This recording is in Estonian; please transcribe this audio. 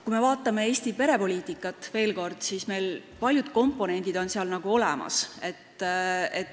Kui me vaatame Eesti perepoliitikat, veel kord, siis näeme, et paljud komponendid on olemas.